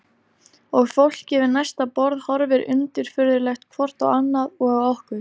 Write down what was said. Og fólkið við næsta borð horfir undirfurðulegt hvort á annað og á okkur.